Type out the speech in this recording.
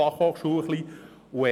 Genauso verhält sich die FH.